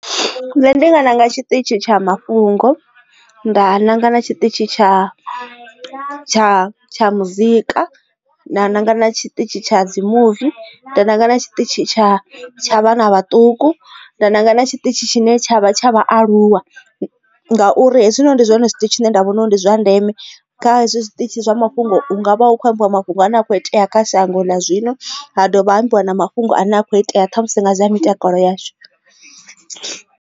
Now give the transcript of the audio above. Nṋe ndi nga ṋanga tshiṱitshi tsha mafhungo, nda nanga na tshiṱitshi tsha tsha tsha muzika, nda nanga na tshiṱitshi tsha dzi muvi, nda nanga na tshiṱitshi tsha tsha vhana vhaṱuku, nda nanga na tshiṱitshi tshine tshavha tsha vhaaluwa ngauri hezwinoni ndi zwone zwiṱitshi tshine nda vhona uri ndi zwa ndeme kha hezwi zwiṱitshi zwa mafhungo nga vha hu khou ambiwa mafhungo ane a kho itea kha shango ḽa zwino ha dovha ha ambiwa na mafhungo ane a kho itea ṱhamusi nga dza mitakalo yashu.